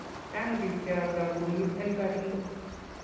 Chang pik che alda kumik en Baringo.